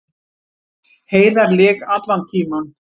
Heiðar lék allan tímann